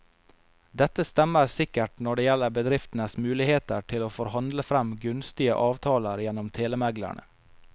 Dette stemmer sikkert når det gjelder bedriftenes muligheter til å forhandle frem gunstige avtaler gjennom telemeglerne.